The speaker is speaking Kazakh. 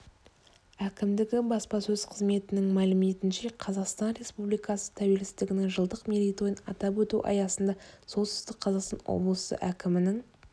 әкімдігі баспасөз қызметінің мәліметінше қазақстан республикасы тәуелсіздігінің жылдық мерейтойын атап өту аясында солтүстік қазақстан облысы әкімінің